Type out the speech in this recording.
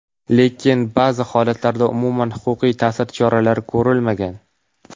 Lekin ba’zi holatlarda umuman huquqiy ta’sir choralari ko‘rilmagan.